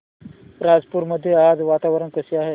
राजूर मध्ये आज वातावरण कसे आहे